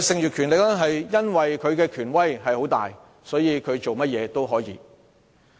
因為它的權威很大，所以它可以做任何事。